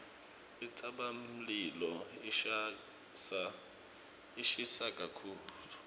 intsabamlilo ishisa kakhulu